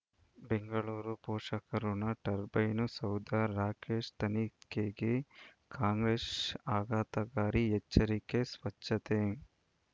ಬೆಂಗಳೂರು ಪೋಷಕರಋಣ ಟರ್ಬೈನು ಸೌಧ ರಾಕೇಶ್ ತನಿಖೆಗೆ ಕಾಂಗ್ರೆಸ್ ಆಘಾತಕಾರಿ ಎಚ್ಚರಿಕೆ ಸ್ವಚ್ಛತೆ